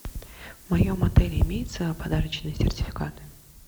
в моем отеле имеются подарочные сертификаты